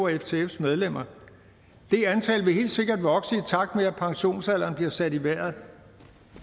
ftfs medlemmer det antal vil helt sikkert vokse i takt med at pensionsalderen bliver sat i vejret